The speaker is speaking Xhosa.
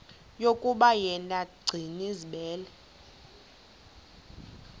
yokuba yena gcinizibele